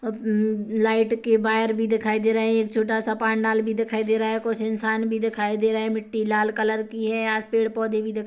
अ-ब light के बायर भी दिखाई दे रहे है एक छोटा सा पांडाल भी दिखाई दे रहा है कुछ इसान भी दिखाई दे रहे है मिट्टी लाल कलर की है यहाँ पेड़ पौधे भी दिख--